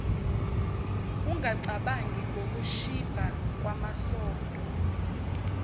ungacabangi ngokushibha kwamasondo